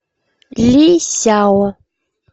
ли сяо